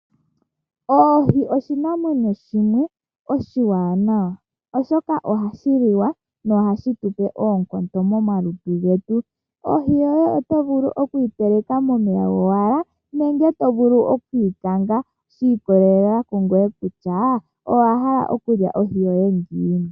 Ohi oshinamwenyo shimwe oshiwanawa oshoka ohashi liwa no hashi tu pe oonkondo momalutu getu. Ohi yoye oto vulu oku yi teleka momeya gowala nenge to vulu oku yi kanga, shi ikolelela kungoye kutya owa hala okulya ohi yoye ngiini.